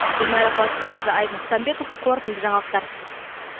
гүлмайра қуатбайқызы айбын құсанбеков қорытынды жаңалықтар